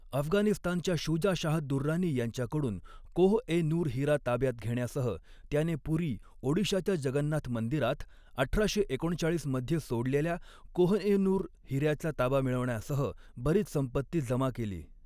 अफगाणिस्तानच्या शुजा शाह दुर्रानी यांच्याकडून कोह ए नूर हिरा ताब्यात घेण्यासह, त्याने पुरी, ओडिशाच्या जगन्नाथ मंदिरात अठराशे एकोणचाळीस मध्ये सोडलेल्या कोह ए नूर हिऱ्याचा ताबा मिळवण्यासह बरीच संपत्ती जमा केली.